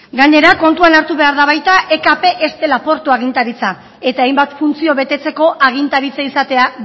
gainera kontuan hartu behar da baita ekp ez dela portu agintaritza eta hainbat funtzio betetzeko agintaritza izatea